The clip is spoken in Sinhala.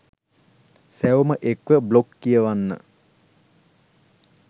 සැවොම එක්ව බ්ලොග් කියවන්න